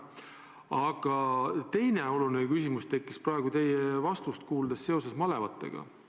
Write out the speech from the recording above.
Aga teine oluline küsimus tekkis praegu, kuuldes teie vastust malevate kohta.